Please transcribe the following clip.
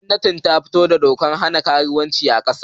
Gwamnati ta fito da dokar hana karuwanci a kasa